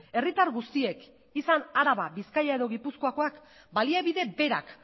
herritar guztiek izan araba bizkaia edo gipuzkoakoak baliabide berak